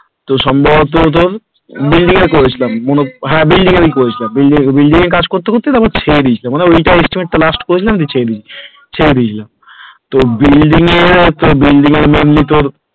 তো সম্ভবত তোর Building এ করেছিলাম হ্যাঁ building এ করেছিলাম ত building এ কাজ করতে করতে পরে ছেড়ে দিয়েছিলাম মানে ওইটার estimate টা করেছিলাম তারপরে ছেড়ে দিয়েছিলাম ছেড়ে দিয়েছি তো building এর building এর mainly তো,